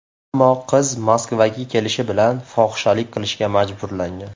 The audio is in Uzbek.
Ammo qiz Moskvaga kelishi bilan fohishalik qilishga majburlangan.